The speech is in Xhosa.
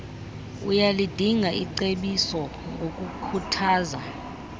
uyalidinga icebiso ngokukhuthaza